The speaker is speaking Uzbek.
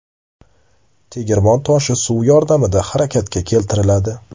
Tegirmon toshi suv yordamida harakatga keltiriladi.